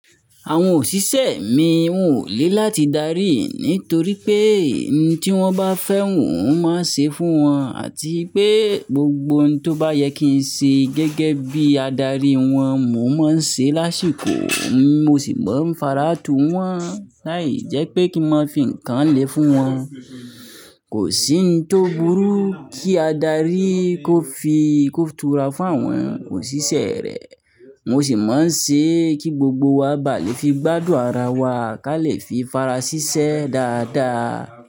Àwọn òṣìṣẹ́ mi wọn ò le láti darí nítorí pé ohun tí wọ́n bá fẹ́, mo máa ṣe fún wọn àti pé gbogbo ohun tó bá yẹ kí n ṣe gẹ́gẹ́ bí adarí wọn, mò máa ń ṣe lásìkò, mo sì máa ń fara tù wọ́n. Láì jẹ́ pé kí n máa fi nǹkan le fún wọn. Kò sí ohun tó burú kí adarí kó fi, kó tura fún àwọn òṣìṣẹ́ rẹ̀. Mo sì máa ń ṣe e kí gbogbo wa baa lè fi gbádùn ara wa, ká lè fi fara ṣiṣẹ́ dáadáa.